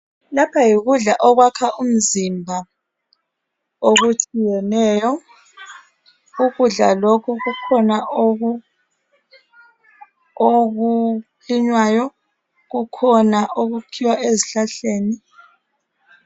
Lapha yikudla okwakha umzimba okutshiyeneyo. Ukudla lokhu kukhona okulinywayo, kukhona okukhiwa ezhlahleni.